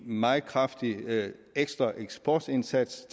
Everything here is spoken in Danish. meget kraftig ekstra eksportindsats